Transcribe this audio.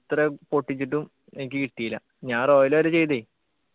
എത്ര പൊട്ടിച്ചിട്ടും എനിക്ക് കിട്ടീല ഞാൻ royal വരെ ചെയ്തേ